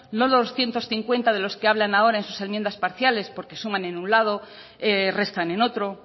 los doscientos cincuenta de los que hablan ahora en sus enmiendas parciales porque suman en un lado restan en otro